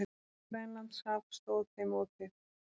Grænlandshaf stóð þeim opið.